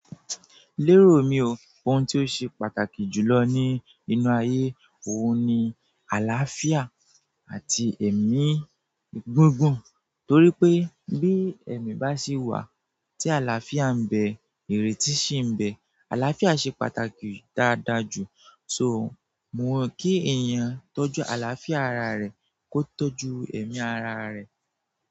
Lérò mi o, ohun tí ó ṣe pàtàkì jùlọ ní inú ayé, òhun ní àlàáfíà àti èmí gígùn torí pé bí èmí bá sì wà tí àlàáfíà ń bẹ ìrètí sì ń bẹ. Alàáfíà ṣe pàtàkì dáadáa jù. So mo kí èèyàn tọ́jú àlàáfíà ara rẹ̀ kó tọ́jú èmí ara rẹ̀